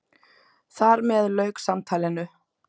Þar með lauk samtalinu.